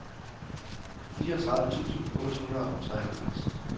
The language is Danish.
fireogtredive tusind otte hundrede og treoghalvfems